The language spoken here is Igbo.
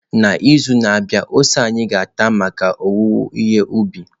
N'izu na-abịa ose anyị ga-ata maka owuwe ihe ubi.